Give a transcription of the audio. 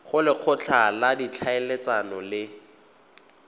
go lekgotla la ditlhaeletsano le